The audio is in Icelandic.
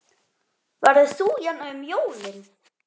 Verður þú hérna um jólin?